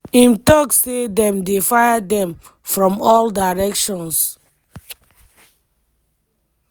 im tok say dem dey fire dem "from all directions".